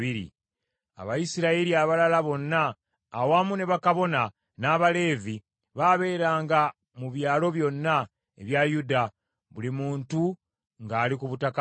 Abayisirayiri abalala bonna, awamu ne bakabona, n’Abaleevi, baabeeranga mu byalo byonna ebya Yuda, buli muntu ng’ali ku butaka bwe.